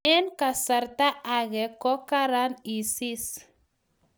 Eng kasarta age ko karan isis